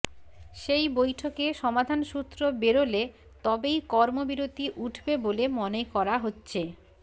সেই বৈঠকে সমাধান সূত্র বেরোলে তবেই কর্মবিরতি উঠবে বলে মনে করা হচ্ছে